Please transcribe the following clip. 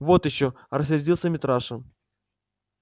вот ещё рассердился митраша